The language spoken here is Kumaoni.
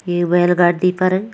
ये बैल गाडी पर --